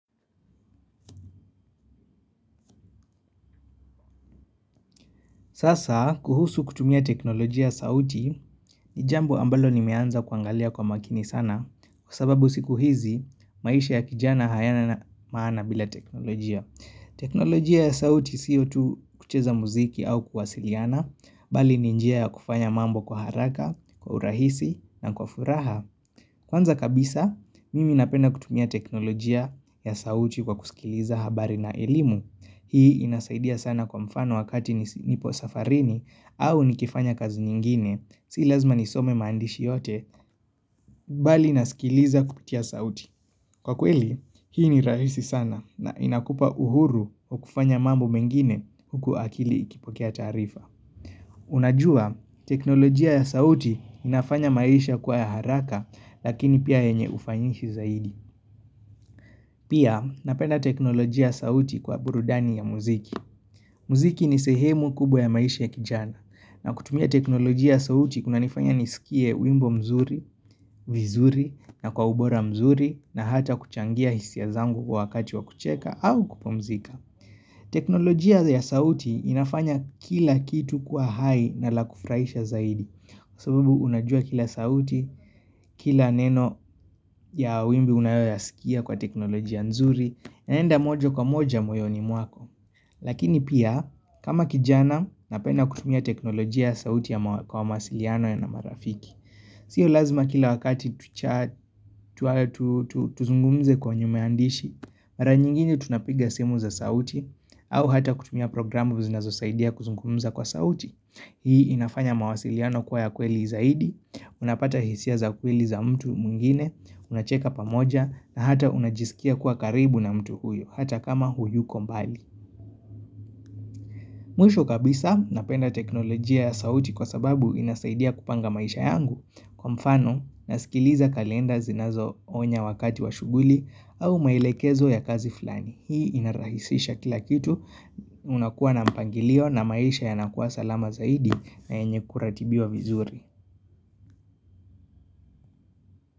Sasa kuhusu kutumia teknolojia sauti ni jambo ambalo nimeanza kuangalia kwa makini sana kwa sababu siku hizi maisha ya kijana hayana na maana bila teknolojia. Teknolojia ya sauti siyo tu kucheza muziki au kuwasiliana bali ni njia ya kufanya mambo kwa haraka, kwa urahisi na kwa furaha. Kwanza kabisa, mimi napenda kutumia teknolojia ya sauti kwa kusikiliza habari na elimu. Hii inasaidia sana kwa mfano wakati nipo safarini au nikifanya kazi nyingine. Sii lazima nisome maandishi yote, bali inasikiliza kupitia sauti. Kwa kweli, hii ni rahisi sana na inakupa uhuru kwa kufanya mambo mengine huku akili ikipokea taarifa. Unajua teknolojia ya sauti inafanya maisha kwa ya haraka lakini pia yenye ufanyishi zaidi Pia napenda teknolojia sauti kwa burudani ya muziki Mziki ni sehemu kubwa ya maisha ya kijana na kutumia teknolojia sauti kuna nifanya nisikie wimbo mzuri, vizuri na kwa ubora mzuri na hata kuchangia hisia zangu kwa wakati wa kucheka au kupomzika teknolojia ya sauti inafanya kila kitu kwa hai na la kufuraisha zaidi Kwa sababu, unajua kila sauti, kila neno ya wimbi unayoyasikia kwa teknoloji nzuri, enenda moja kwa moja mwoyoni mwako. Lakini pia, kama kijana, napenda kutumia teknoloji ya sauti ya kwa masiliano ya na marafiki. Sio lazima kila wakati tuzungumze kwenye maandishi, mara nyingine tunapiga simu za sauti, au hata kutumia programu zinazo saidia kuzungumuza kwa sauti Hii inafanya mawasiliano kwa ya kweli zaidi Unapata hisia za kweli za mtu mwingine unacheka pamoja na hata unajisikia kwa karibu na mtu huyo hata kama huyuko mbali Mwisho kabisa napenda teknolojia ya sauti kwa sababu inasaidia kupanga maisha yangu Kwa mfano nasikiliza kalenda zinazo onya wakati wa shughuli au mailekezo ya kazi flani hii inarahisisha kila kitu unakuwa na mpangilio na maisha yanakuwa salama zaidi na enye kuratibiwa vizuri.